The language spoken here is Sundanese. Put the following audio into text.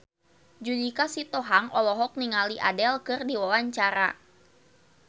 Judika Sitohang olohok ningali Adele keur diwawancara